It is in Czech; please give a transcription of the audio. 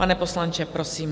Pane poslanče, prosím.